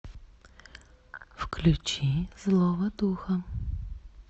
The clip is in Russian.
включи злого духа